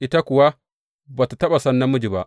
Ita kuwa ba tă taɓa san namiji ba.